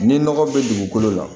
Ni nɔgɔ min bɛ dugukolo la